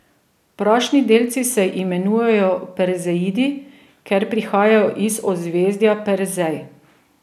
Prašni delci se imenujejo perzeidi, ker prihajajo iz ozvezdja Perzej.